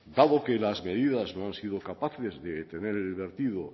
dado que las medidas no han sido capaces de detener el vertido